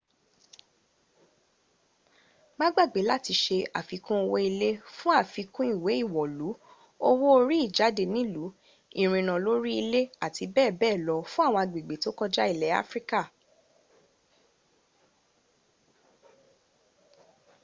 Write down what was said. má gbàgbé làti se àfikún owó ìlé fún àfikún ìwẹ́ ìwọ̀lú owó orí ìjádẹ nìlú ìrìnnà lórí ilè àti bẹ́ẹ̀bẹ́ẹ̀ lọ fún àwọn agbègbè tó kọjá ilẹ̀ áfríká